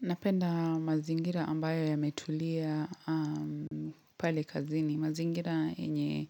Napenda mazingira ambayo yametulia pale kazini. Mazingira enye